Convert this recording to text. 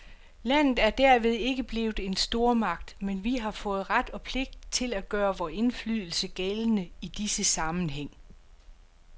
Landet er derved ikke blevet en stormagt, men vi har fået ret og pligt til at gøre vor indflydelse gældende i disse sammenhæng.